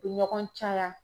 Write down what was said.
U be ɲɔgɔn caya